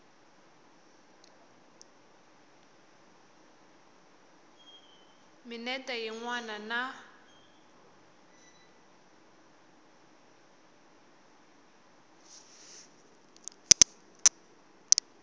minete yin wana na yin